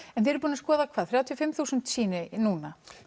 þið eruð búin að skoða hvað þrjátíu og fimm þúsund sýni núna